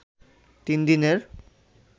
তিন দিনের